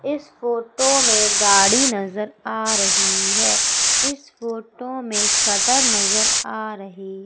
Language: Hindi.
इस फोटो में गाड़ी नजर आ रही है इस फोटो में शटर नजर आ रही--